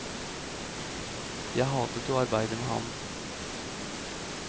Jeg hatet å arbeide med ham.